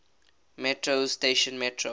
metro station metro